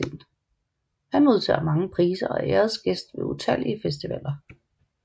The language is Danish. Han modtager mange priser og er æresgæst ved utallige festivaler